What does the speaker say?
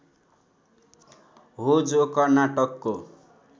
हो जो कर्नाटकको